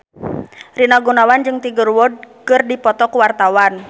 Rina Gunawan jeung Tiger Wood keur dipoto ku wartawan